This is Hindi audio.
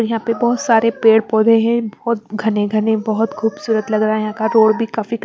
यहां पे बहोत सारे पेड़ पौधे हैं बहोत घने घने बहोत खूबसूरत लग रहे हैं का रोड भी काफी--